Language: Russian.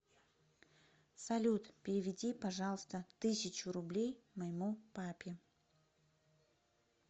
салют переведи пожалуйста тысячу рублей моему папе